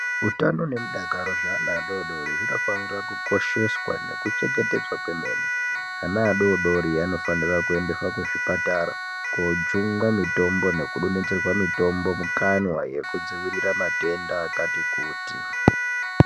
Utano nemudakaro zveana adoodori hunofanira kukosheswa nekuchengetedzwa kwemene. Ana adoodori anofanire kuendeswa kuzvipatara koojungwe mitombo nekudonhodzerwa mitombo mukanwa yekudzivirira matenda akati kuti.